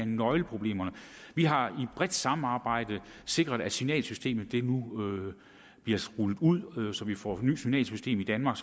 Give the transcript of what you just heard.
nøgleproblemerne vi har i et bredt samarbejde sikret at signalsystemet nu bliver rullet ud så vi får et nyt signalsystem i danmark